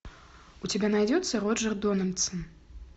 у тебя найдется роджер дональдсон